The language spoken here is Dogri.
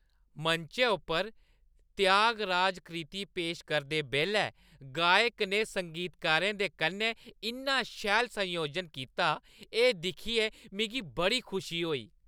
मंचै उप्पर त्यागराज कृति पेश करदे बेल्लै गायक ने संगीतकारें दे कन्नै इन्ना शैल संयोजन कीता, एह् दिक्खियै मिगी बड़ी खुशी होई।